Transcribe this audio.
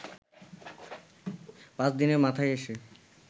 পাঁচ দিনের মাথায় এসে